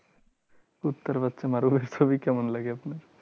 কুত্তার বাচ্চা মারুলের ছবি কেমন লাগে আপনার?